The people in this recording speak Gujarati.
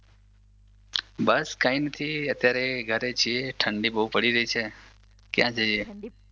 બસ કાઇ નથી અત્યારે ઘરે છીએ ઠંડી બહુ પડી રહી છે. ક્યાં જઈએ.